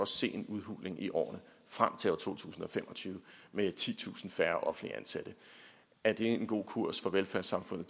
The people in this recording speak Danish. se en udhuling i årene frem til år to tusind og fem og tyve med titusind færre offentligt ansatte er det en god kurs for velfærdssamfundet